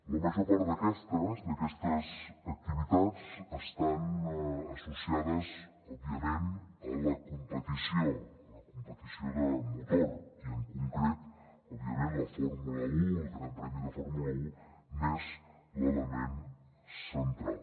la major part d’aquestes activitats estan associades òbviament a la competició la competició de motor i en concret òbviament la fórmula un el gran premi de fórmula un n’és l’element central